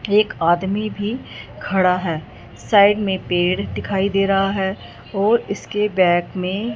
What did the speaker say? एक आदमी भी खड़ा है साइड में पेड़ दिखाई दे रहा है और इसके बैक में--